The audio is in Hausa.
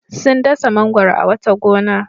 Sun dasa mangwaro a wata gona.